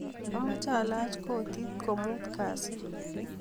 Amache alach koti komutu kasi